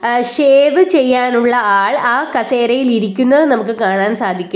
ആ ഷേവ് ചെയ്യാനുള്ള ആൾ ആ കസേരയിൽ ഇരിക്കുന്നത് നമുക്ക് കാണാൻ സാധിക്കും.